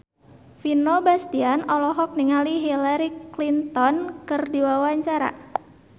Vino Bastian olohok ningali Hillary Clinton keur diwawancara